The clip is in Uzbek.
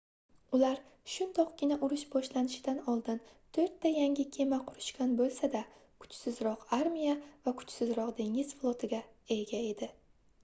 ular shundoqqina urush boshlanishidan oldin toʻrtta yangi kema qurishgan boʻlsa-da kuchsizroq armiya va kuchsizroq dengiz flotiga ega edi